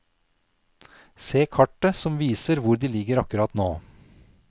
Se kartet som viser hvor de ligger akkurat nå.